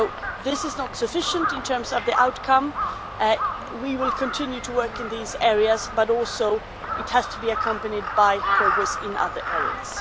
If this is not sufficient in terms of the outcome, we will continue to work in these areas, but also it has to be accompanied by progress in other areas.